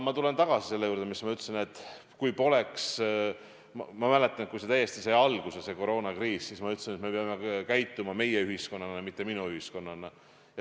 Ma mäletan, kui sai alguse see koroonakriis, siis ma ütlesin, et me peame käituma meie-ühiskonnana, mitte minu-ühiskonnana.